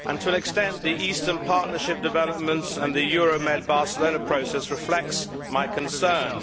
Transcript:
To an extent, the Eastern Partnership developments and the Euromed Barcelona Process reflect my concerns.